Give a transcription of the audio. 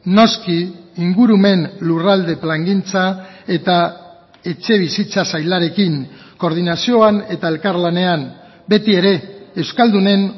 noski ingurumen lurralde plangintza eta etxebizitza sailarekin koordinazioan eta elkarlanean beti ere euskaldunen